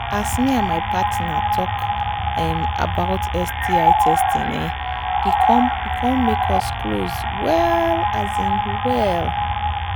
as me with my partner talk um about sti testing um e come e come make us close well um well